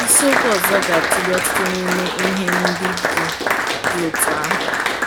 Isiokwu ọzọ ga-atụle ọtụtụ n’ime ihe ndị dị dị otú ahụ.